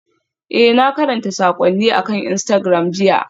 Ee, na karanta saƙonnin akan Instagram jiya.